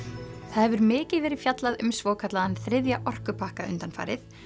hefur mikið verið fjallað um svokallaðan þriðja orkupakka undanfarið